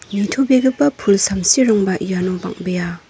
nitobegipa pul samsirangba iano bang·bea.